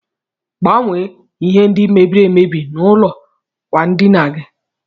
Gbanwe ihe ndi mebiri emebi na ụlọ akwa ndina gi.